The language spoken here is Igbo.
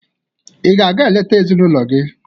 Ị ga-aga eleta ezinụlọ gị?